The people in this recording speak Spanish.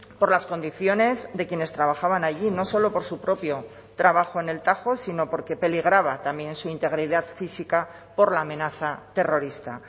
por las condiciones de quienes trabajaban allí no solo por su propio trabajo en el tajo sino porque peligraba también su integridad física por la amenaza terrorista